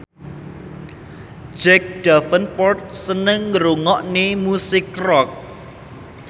Jack Davenport seneng ngrungokne musik rock